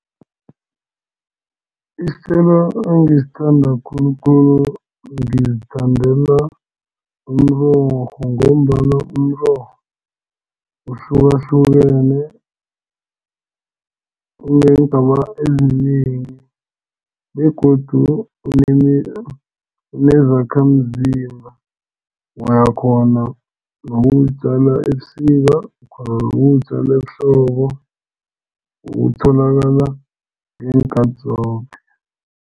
Isithelo engisithanda khulukhulu ngizithandela umrorho ngombana umrorho uhlukahlukene uneengaba ezinengi begodu unezakhamzimba. Uyakghona nokuwutjala ebusika, uyakghona nokuwutjala ehlobo utholakala ngeenkhathi zoke.